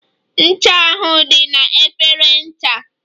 Ncha ahụ dị na efere ncha.